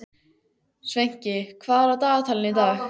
Sveinki, hvað er á dagatalinu í dag?